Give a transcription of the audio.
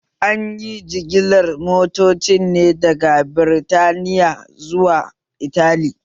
Anyi jigilar motocin ne daga Birtaniya zuwa Italy